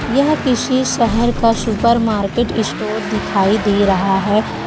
यह किसी शहर का सुपरमार्केट स्टोर दिखाए दे रहा है।